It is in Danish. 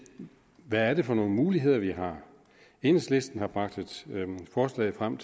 hvad det er for nogle muligheder vi har enhedslisten har bragt et forslag frem